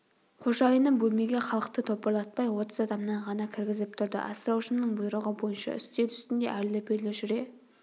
қожайыным бөлмеге халықты топырлатпай отыз адамнан ғана кіргізіп тұрды асыраушымның бұйрығы бойынша үстел үстінде әрлі-берлі жүре